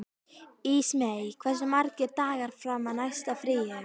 Ísmey, hversu margir dagar fram að næsta fríi?